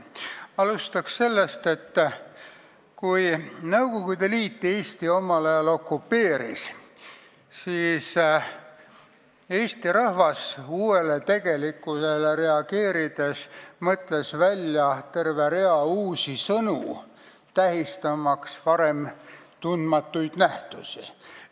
Alustan sellest, et kui Nõukogude Liit omal ajal Eesti okupeeris, siis mõtles eesti rahvas uuele tegelikkusele reageerides välja terve rea uusi sõnu, tähistamaks varem tundmatuid nähtusi.